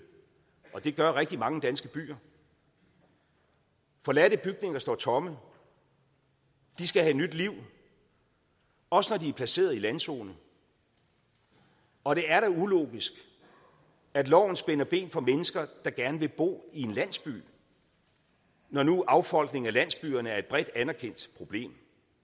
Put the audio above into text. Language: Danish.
og det gør rigtig mange danske byer forladte bygninger står tomme de skal have nyt liv også når de er placeret i landzonen og det er da ulogisk at loven spænder ben for mennesker der gerne vil bo i en landsby når nu affolkningen af landsbyerne er et bredt anerkendt problem